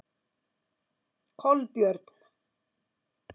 Kolbjörn